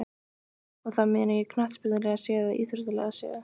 Og þá meina ég knattspyrnulega séð eða íþróttalega séð?